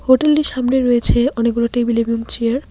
হোটেলের সামনে রয়েছে অনেকগুলো টেবিল এবং চেয়ার ।